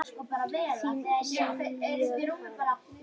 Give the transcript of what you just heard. Þín Sylvía Karen.